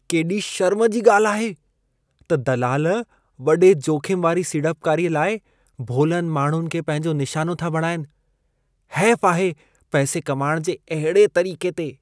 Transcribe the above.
केॾी शर्म जी ॻाल्हि आहे त दलाल वॾे जोख़िम वारी सीड़पकारीअ लाइ भोलनि माण्हुनि खे पंहिंजो निशानो था बणाइनि। हैफ़ु आहे पैसे कमाइण जे अहिड़े तरीक़े ते!